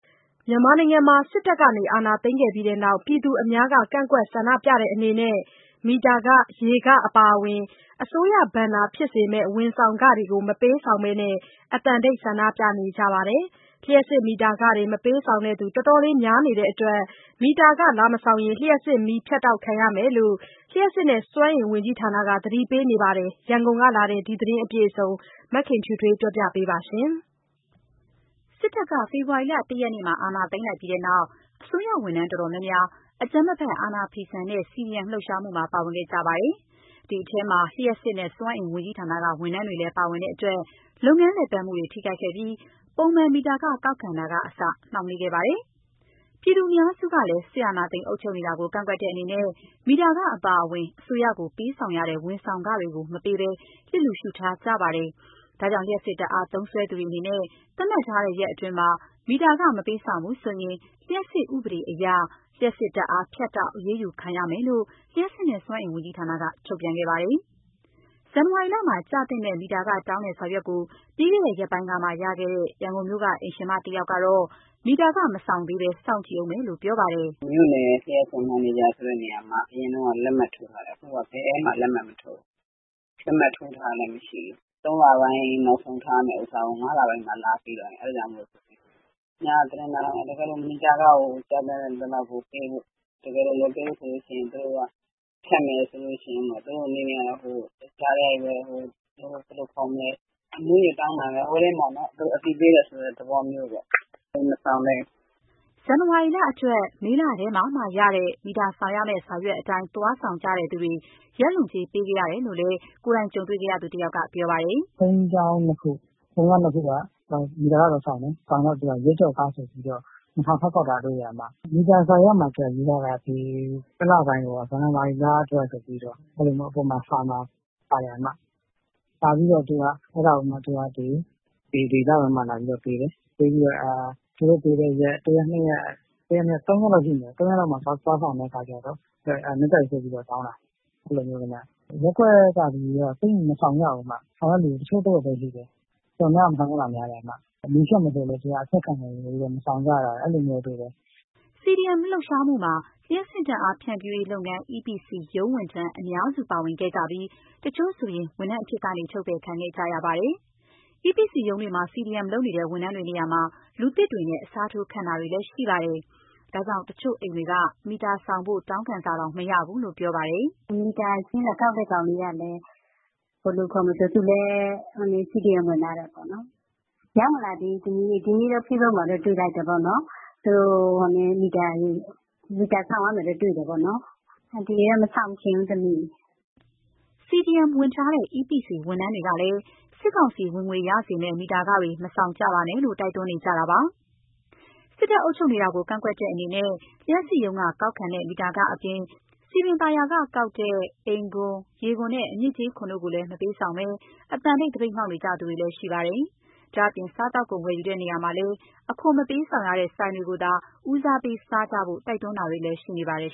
မြန်မာနိုင်ငံမှာ စစ်တပ်အာဏာသိမ်းခဲ့ပြီးနောက် ပြည်သူအများက ကန့်ကွက်ဆန္ဒပြတဲ့အနေနဲ့ မီတာခ၊ ရေခ အပါအဝင် အစိုးရဘဏ္ဍာဖြစ်စေမယ့် ဝန်ဆောင်ခတွေ မပေးဆောင်ဘဲ အသံတိတ်ဆန္ဒပြနေကြပါတယ်။ လ ျှပ်စစ်မီတာခတွေ မပေးဆောင်သူ တော်တော်လေးများနေတဲ့အတွက် မီတာခမဆောင်ရင် လျှပ်စစ်မီးဖြတ်တောက်ခံရမယ်လို့ လျှပ်စစ်နဲ့စွမ်းအင်ဝန်ကြီးဌာနက သတိပေးနေပါတယ်။ ရန်ကုန်ကလာတဲ့ ဒီသတင်းအပြည့်အစုံကို မခင်ဖြူထွေးက ပြောပြပါမယ်။ စစ်တပ်က ဖေဖော်ဝါရီလ ၁ ရက်မှာ အာဏာသိမ်းလိုက်ပြီးတဲ့နောက် အစိုးရဝန်ထမ်းတော်တော်များများ အကြမ်းမဖက် အာဏာဖီဆန်တဲ့ CDM လှုပ်ရှားမှုမှာ ပါဝင်ခဲ့ကြပါတယ်။ အဲဒီထဲမှာ လ ျှပ်စစ်နဲ့စွမ်းအင်ဝန်ကြီးဌာနက ဝန်ထမ်းတွေလည်း ပါဝင်ကြတဲ့အတွက် လုပ်ငန်းလည်ပတ်မှုတွေ ထိခိုက်ခဲ့ပြီး ပုံမှန် မီတာခကောက်ခံတာကအစ နှောင့်နှောင်းခဲ့ပါတယ်။ ပြည်သူအများစုကလည်း စစ်အာဏာသိမ်းအုပ်ချုပ်နေတာကို ကန့်ကွက်တဲ့အနေနဲ့ မီတာခအပါအဝင် အစိုးရကိုပေးဆောင်ရတဲ့ ဝန်ဆောင်ခတွေကို မပေးဘဲ လျစ်လျူရှုထားကြပါတယ်။ ဒါကြောင့် လျှပ်စစ်ဓာတ်အား သုံးစွဲသူတွေအနေနဲ့ သတ်မှတ်ထားတဲ့ ရက်အတွင်းမှာ မီတာခမပေးဆောင်ဘူးဆိုရင် လျှပ်စစ်ဥပဒေအရ လျှပ်စစ်ဓာတ်အား ဖြတ်တောက် အရေးယူခံရမယ်လို့ လျှပ်စစ်နဲ့ စွမ်းအင်ဝန်ကြီးဌာနက ထုတ်ပြန်ခဲ့ပါတယ်။ ဇန်နဝါရီလမှာ ကျသင့်တဲ့မီတာခတောင်းတဲ့စာရွက်ကို ပြီးခဲ့တဲ့ ရက်ပိုင်းကမှရခဲ့တဲ့ ရန်ကုန်မြို့က အိမ်ရှင်မတယောက်ကတော့ မီတာခ မဆောင်သေးဘဲ စောင့်ကြည့်ဦးမယ်လို့ ပြောပါတယ်။ “မီတာစာရွက်က မြို့နယ်လျှပ်စစ်မန်နေဂျာ ဆိုတဲ့နေရာမှာ အရင်တုန်းက လက်မှတ်ထိုးတယ်၊ အခုဟာက ဘာမှလက်မှတ်မထိုးဘူး။ လက်မှတ်ထိုးထားတာလည်း မရှိဘူး၊ ၃ လပိုင်း ၂၅ ရက်နေ့ နောက်ဆုံးထားပြီး ဆောင်ရမယ်ဆိုတဲ့ မီတာခကို အခု ၅ လပိုင်းမှ လာပေးတယ်။ ညက သတင်းနားထောင်လိုက်ရတယ်၊ မီတာခကို ကျသင့်သလောက်ပေး၊ တကယ်လို့ မပေးဘူးဆိုရင် သူတို့ဘက်ကဖြတ်မယ်ဆိုရင် သူတို့အနေနဲ့ကတော့ ကြားထဲကနေ အသိပေးတယ်ဆိုတဲ့ သဘောမျိုးပေါ့။ ဒါပေမဲ့ မီတာခ မဆောင်သေးဘူး။” ဇန်နဝါရီလအတွက် မေလထဲမှာမှရတဲ့ မီတာဆောင်ရမယ့် စာရွက်အတိုင်း သွားဆောင်သူတွေ ရက်လွန်ကြေးပေးခဲ့ရတယ်လို့ ကြုံတွေ့ခဲ့ရသူတယောက်က ပြောပြပါတယ်။ “ဘုန်းကြီးကျောင်း နှစ်ကျာင်းက မီတာခသွားဆောင်တယ်။ သွားဆောင်တော့ ရက်ကျော်ခဆိုပြီးတော့ ၂,၀၀၀ ထပ်ကောက်ထားသေးတယ်။ မီတာစာရွက်မှာ ရေးထားတာကျတော့ ဇန်နဝါရီလအတွက် ဆိုပြီးတော့ စာမှာပါတယ်။ ဒါပေမဲ့ သူက ဒီလပိုင်းမှ လာပြီးပေးတယ်။ သူတို့ပေးပြီး နောက်ထပ် သုံးရက်လောက်မှာ သွားဆောင်တော့ ရက်ကျော်ကြေးဆိုပြီး တောင်းတာ။ ရပ်ကွက်ကလူတွေကတော့ သိပ်မဆောင်ကြဘူး၊ ဆောင်တဲ့သူ တချို့တဝက်ပဲရှိတယ်။ တော်တော်များများက မဆောင်ကြဘူး။ မီးဖြတ်မယ်ဆိုလည်း အဖြတ်ခံပြီးတော့ မဆောင်ကြတာ။” CDM လှုပ်ရှားမှုမှာ လျှပ်စစ်ဓာတ်အား ဖြန့်ဖြူးရေးလုပ်ငန်း EPC ရုံးဝန်ထမ်းအများစု ပါဝင်ခဲ့ကြပြီး တချို့ဆို ဝန်ထမ်းအဖြစ်ကနေ ထုတ်ပယ်ခံခဲ့ကြရပါတယ်။ EPC ရုံးတွေမှာ CDM လုပ်နေတဲ့ ဝန်ထမ်းတွေနေရာမှာ လူသစ်တွေနဲ့ အစားထိုးခန့်တာတွေလည်းရှိပါတယ်။ ဒါကြောင့် တချို့အိမ်တွေက မီတာဆောင်ဖို့ တောင်းခံစာတောင် မရဘူးလို့ ပြောပါတယ်။ “မီတာစာရင်း လာကောက်တဲ့ကောင်လေးကလည်း CDM ဝင်ထားတယ်။ မီတာစာရွက်တွေလည်း ရောက်မလာသေးဘူး။ ဒီနေ့တော့ Facebook မှာတော့ တွေ့လိုက်တယ်... မီတာခဆောင်ရမယ်ပေါ့။ အန်တီကတော့ မဆောင်ချင်ဘူး။” CDM ဝင်ထားတဲ့ EPC ဝန်ထမ်းတွေကလည်း စစ်ကောင်စီ ဝင်ငွေရစေမယ့် မီတာခတွေ မဆောင်ကြပါနဲ့လို့ တိုက်တွန်းနေကြပါတယ်။ စစ်တပ်အုပ်ချုပ်နေတာကို ကန့်ကွက်တဲ့အနေနဲ့ လျှပ်စစ်ရုံးက ကောက်ခံတဲ့ မီတာခအပြင်၊ စည်ပင်သာယာကကောက်တဲ့ အိမ်ခွန်၊ ရေခွန်နဲ့ အညစ်အကြေးခွန်တို့ကိုလည်း မပေးဆောင်ဘဲ အသံတိတ် သပိတ်မှောက်နေကြသူတွေ ရှိပါတယ်။ ဒါ့အပြင် စားသောက်ကုန် ဝယ်ယူရာမှာလည်း အခွန်မပေးဆောင်ရတဲ့ ဆိုင်တွေကိုသာ ဦးစားပေးစားကြဖို့ တိုက်တွန်းမှုတွေလည်း ရှိနေပါတယ်